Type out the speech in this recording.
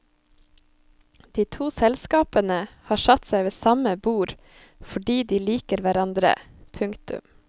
De to selskapene har satt seg ved samme bord fordi de liker hverandre. punktum